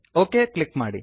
okay click ಮಾಡಿ